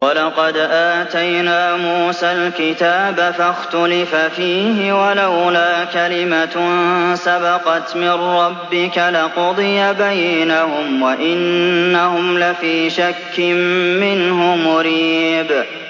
وَلَقَدْ آتَيْنَا مُوسَى الْكِتَابَ فَاخْتُلِفَ فِيهِ ۚ وَلَوْلَا كَلِمَةٌ سَبَقَتْ مِن رَّبِّكَ لَقُضِيَ بَيْنَهُمْ ۚ وَإِنَّهُمْ لَفِي شَكٍّ مِّنْهُ مُرِيبٍ